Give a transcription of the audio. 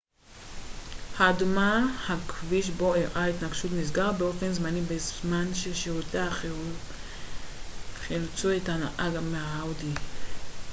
הכביש בו אירעה ההתנגשות נסגר באופן זמני בזמן ששירותי החירום חילצו את הנהג מהאאודי tt האדומה